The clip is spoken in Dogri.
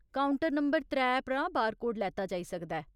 काउंटर नंबर त्रै परा बारकोड लैता जाई सकदा ऐ।